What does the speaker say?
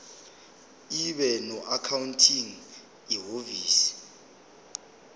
ibe noaccounting ihhovisir